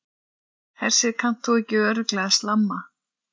Hersir, kannt þú ekki örugglega að slamma?